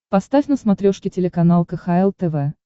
поставь на смотрешке телеканал кхл тв